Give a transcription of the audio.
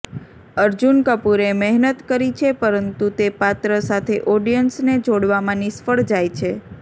અર્જુન કપૂરે મહેનત કરી છે પરંતુ તે પાત્ર સાથે ઑડિયન્સને જોડવામાં નિષ્ફળ જાય છે